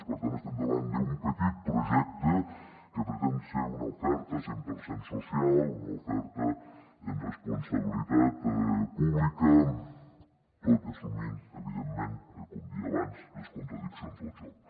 per tant estem davant d’un petit projecte que pretén ser una oferta cent per cent social una oferta amb responsabilitat pública tot assumint evidentment com deia abans les contradiccions del joc